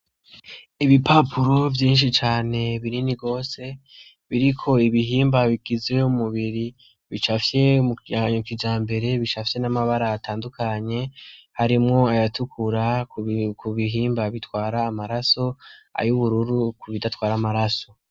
Ibipapuro vyinshi cane binini rwose biriko ibihimba bigizeyo mumubiri bisafye mu kanyukija mbere bishafye n'amabara atandukanye harimwo ayatukura ku bihimba bitwara amaraso ayo ubururu ku bidatwara amaraso.